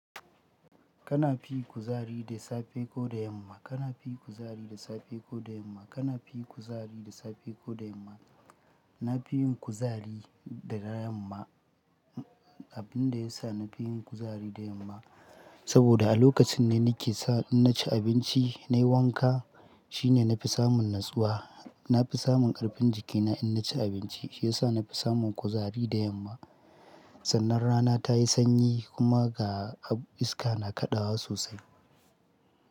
Kana fi kuzari da safe ko da yamma? Kana fi kuzari da safe ko da yamma? Kana fi kuzari da safe ko da yamma? Na fi yin kuzari da yamma Abin da ya sa na fi yin kuzari da yamma saboda a lokacin ne nike sa in naci abinci nayi wanka shine nafi samun natsuwa. Nafi samun karfin jikina in naci abinci, shi yasa nafi samun kuzari da yamma. Sannan rana tayi sanyi kuma ga iska na kaɗawa sosai.